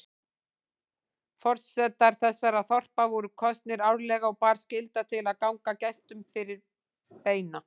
Forsetar þessara þorpa voru kosnir árlega og bar skylda til að ganga gestum fyrir beina.